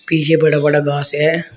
पीछे बड़ा बड़ा घास है।